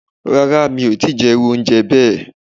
Ràrà, emi o ti jẹ iru ounjẹ bẹẹ